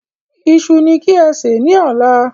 Iṣu ní kí ẹ sè ni ọ̀la